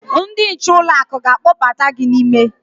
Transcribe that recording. Ndị nche ụlọ akụ ga-akpọbata gị n'ime.